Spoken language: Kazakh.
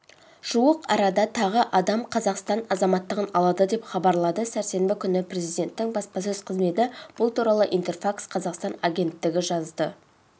жуық арада тағы адам қазақстан азаматтығын алады деп хабарлады сәрсенбі күні президенттің баспасөз қызметі бұл туралы интерфакс-қазақстан агенттігі жазды